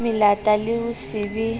melata le ho se be